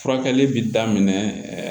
Furakɛli bi daminɛ ɛɛ